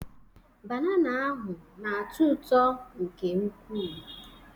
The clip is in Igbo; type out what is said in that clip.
Banana ahụ na-atọ ụtọ nke ukwuu.